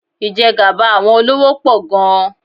Ìjẹgàba àwọn olówó pọ̀ gan-an.